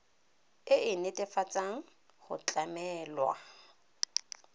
e e netefatsang go tlamelwa